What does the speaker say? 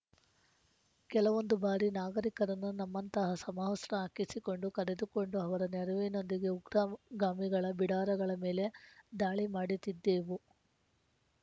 ಕೆಲವೊಂದು ಬಾರಿ ನಾಗರಿಕರನ್ನು ನಮ್ಮಂತಹ ಸಮವಸ್ರ ಹಾಕಿಸಿಕೊಂಡು ಕರೆದುಕೊಂಡು ಅವರ ನೆರವಿನೊಂದಿಗೆ ಉಗ್ರವ್ ಗಾಮಿಗಳ ಬಿಡಾರಗಳ ಮೇಲೆ ದಾಳಿ ಮಾಡುತ್ತಿದ್ದೆವು